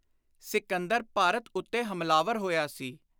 ਸਿਕੰਦਰ ਭਾਰਤ ਉੱਤੇ ਹਮਲਾਵਰ ਹੋਇਆ ਸੀ।